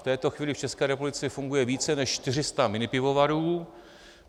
V této chvíli v České republice funguje více než 400 minipivovarů.